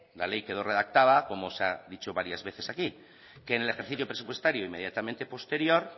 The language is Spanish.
la ley quedó redactada como se ha dicho varias veces aquí que en el ejercicio presupuestario inmediatamente posterior